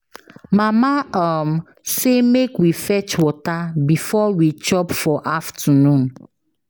Mama um say make we fetch water before we chop for afternoon